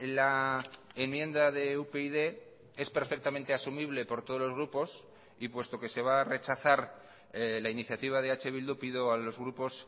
la enmienda de upyd es perfectamente asumible por todos los grupos y puesto que se va a rechazar la iniciativa de eh bildu pido a los grupos